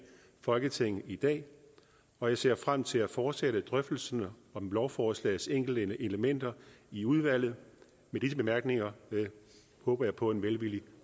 folketinget i dag og jeg ser frem til at fortsætte drøftelserne om lovforslagets enkelte elementer i udvalget med disse bemærkninger håber jeg på en velvillig